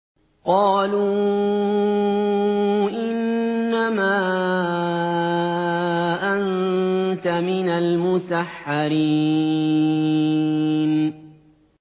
قَالُوا إِنَّمَا أَنتَ مِنَ الْمُسَحَّرِينَ